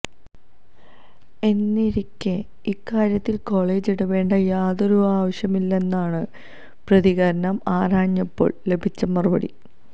എന്നിരിക്കെ ഇക്കാര്യത്തില് കോളെജ് ഇടപെടേണ്ട യാതൊരു ആവശ്യവുമില്ലെന്നാണ് പ്രതികരണം ആരാഞ്ഞപ്പോള് ലഭിച്ച മറുപടി